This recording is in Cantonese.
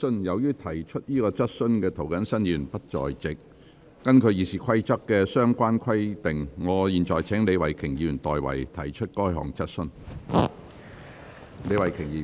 由於提出這項質詢的涂謹申議員不在席，根據《議事規則》的相關規定，我現在請李慧琼議員提出該質詢。